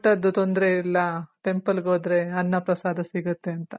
ಊಟದ್ದು ತೊಂದ್ರೆ ಇಲ್ಲ. temple ಗೋದ್ರೆ ಅನ್ನ ಪ್ರಸಾದ ಸಿಗುತ್ತೆ ಅಂತ.